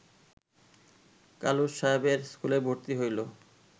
কালুস সাহেবের স্কুলে ভর্তি হইল